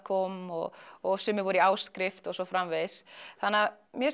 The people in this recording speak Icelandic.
kom og og sumir voru í áskrift og svo framvegis þannig mér